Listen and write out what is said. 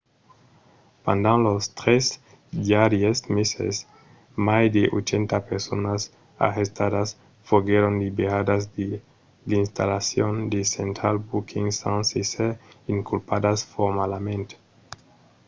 pendent los 3 darrièrs meses mai de 80 personas arrestadas foguèron liberadas de l'installacion de central booking sens èsser inculpadas formalament